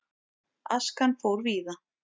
Askan fór víða.